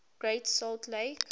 great salt lake